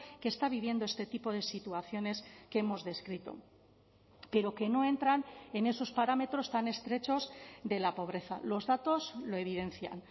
que está viviendo este tipo de situaciones que hemos descrito pero que no entran en esos parámetros tan estrechos de la pobreza los datos lo evidencian